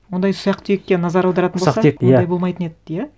ондай ұсақ түйекке назар аударатын болса ұсақ түйек иә ондай болмайтын еді иә